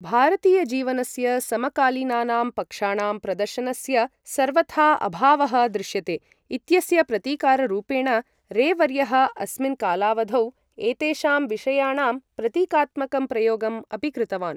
भारतीय जीवनस्य समकालीनानां पक्षाणां प्रदर्शनस्य सर्वथा अभावः दृश्यते इत्यस्य प्रतिकाररूपेण, रे वर्यः अस्मिन् कालावधौ, एतेषां विषयाणां प्रतीकात्मकं प्रयोगम् अपि कृतवान्।